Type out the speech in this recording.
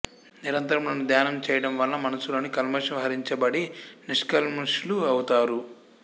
నిరంతరము నన్ను ధ్యానం చేయడం వలన మనసులోని కల్మషము హరించబడి నిష్కల్మషులౌతారు